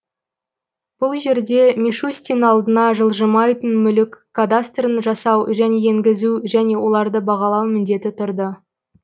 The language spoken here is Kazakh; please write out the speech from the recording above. бұл жерде мишустин алдына жылжымайтын мүлік кадастрын жасау және енгізу және оларды бағалау міндеті тұрды